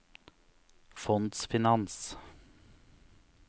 fondsfinans